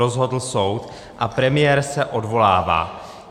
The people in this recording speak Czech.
Rozhodl soud a premiér se odvolává.